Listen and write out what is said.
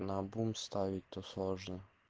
наобум ставить то сложно